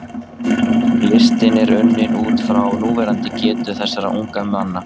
Listinn er unninn út frá núverandi getu þessara ungu manna.